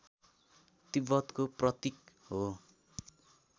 तिब्बतको प्रतीक हो